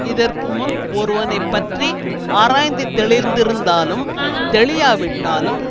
இதற்கு முன் ஒருவனை பற்றி ஆராய்ந்து தெளிந்திருந்தாலும் தெளியாவிட்டாலும்